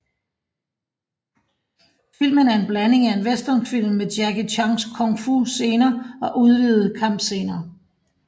Filmen er en blanding af en westernfilm med Jackie Chans Kung Fu scener og udvidede kampscener